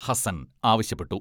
ഹസൻ ആവശ്യപ്പെട്ടു.